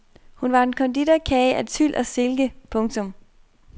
Hun var en konditorkage af tyl og silke. punktum